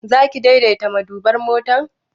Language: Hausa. Zaki daidaita maduban motar?